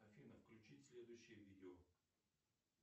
афина включи следующее видео